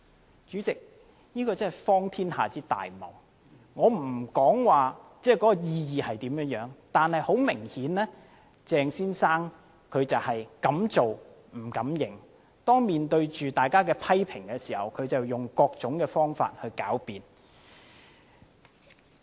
代理主席，這真是荒天下之大謬，我不評論有關意義，但是，很明顯鄭先生是敢做不敢認，當面對着大家的批評時，他便用各種方法來狡辯。